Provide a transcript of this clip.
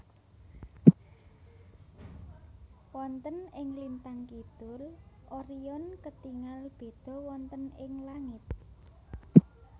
Wonten ing lintang kidul Orion ketingal béda wonten ing langit